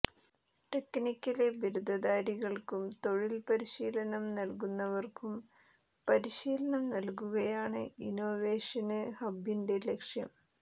technical ബിരുദധാരികള്ക്കും തൊഴില് പരിശീലനം നടത്തുന്നവര്ക്കും പരിശീലനം നല്കുകയാണ് ഇന്നൊവേഷന് ഹബ്ബിന്റെ ലക്ഷ്യം